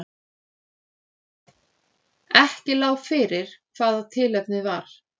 Ekki lá fyrir hvað tilefnið var